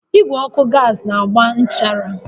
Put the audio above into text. Igwe ọkụ gas na-agba nchara